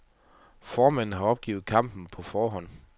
Formanden har opgivet kampen på forhånd.